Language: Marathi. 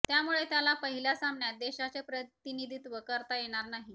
त्यामुळे त्याला पहिल्या सामन्यात देशाचे प्रतिनिधित्व करता येणार नाही